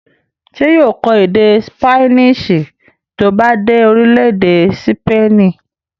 ṣé yóò kọ́ èdè ṣípánísì tí ó bá dé orílẹ̀-èdè sípènì?